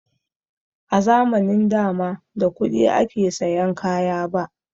A zamanin da ma da kuɗi ake sayan kaya ba